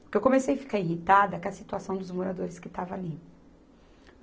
Porque eu comecei a ficar irritada com a situação dos moradores que estavam ali.